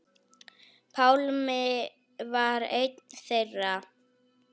Pálmi var einn þeirra.